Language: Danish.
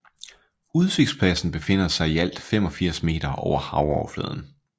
Udsigtspladsen befinder sig i alt 85 meter over havoverfladen